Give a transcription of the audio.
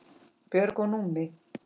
Björg og Númi.